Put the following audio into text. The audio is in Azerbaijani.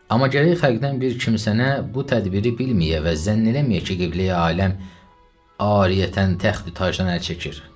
Amma gərək xəlqdən bir kimsənə bu tədbiri bilməyə və zənn eləməyə ki, qibleyi aləm ariyətən təxti tacdan əl çəkir.